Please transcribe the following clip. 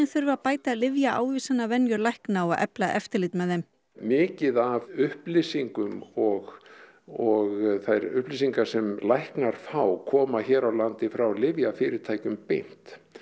þurfi að bæta lækna og efla eftirlit með þeim mikið af upplýsingum og og þær upplýsingar sem læknar fá koma hér á landi frá lyfjafyrirtækjunum beint